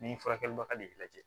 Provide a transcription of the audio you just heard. Ni furakɛlibaga de y'i lajɛ